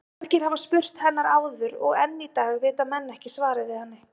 Margir hafa spurt hennar áður og enn í dag vita menn ekki svarið við henni.